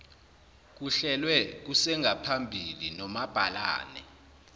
kuhlelwe kusengaphambili nomabhalane